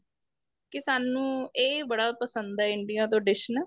ਕੀ ਸਾਨੂੰ ਇਹ ਬੜਾ ਪਸੰਦ ਏ India ਤੋਂ dish ਨਾ